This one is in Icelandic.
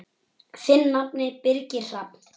Þinn nafni, Birgir Hrafn.